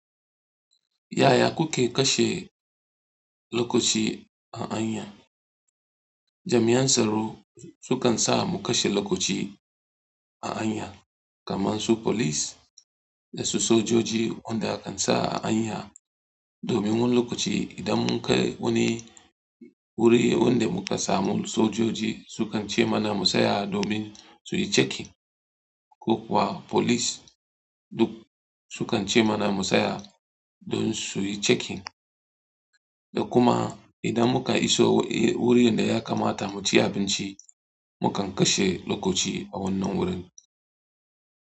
Yaya kuke kashe lokaci a hanya? Jami'an tsaro su kan sa mu kashe lokaci a hanya, kamar su police da su sojoji wanda kan sa a hanya. Domin wannan lokaci idan mun kai wani wuri wanda mu ka samu sojoji su kan ce mana mu tsaya domin su yi checking, ko kuwa police duk su kan ce mana mu tsaya don su yi checking. Da kuma idan mu ka iso wurin da ya kamata mu ci abinci, mu kan kashe lokaci a wannan wurin.